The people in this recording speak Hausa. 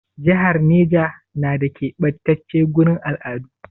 Jihar Neja na da ƙebatace gurin al'adu?